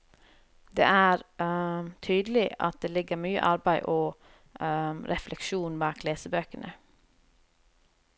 Det er tydelig at det ligger mye arbeid og refleksjon bak lesebøkene.